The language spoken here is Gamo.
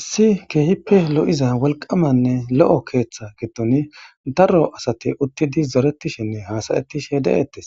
Issi keehippe lo'iza wolqamanne lo'o keeththa giddon darro asati uttidi zoretishinne hasayettish h de'ettes